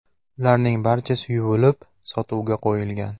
Ularning barchasi yuvilib, sotuvga qo‘yilgan.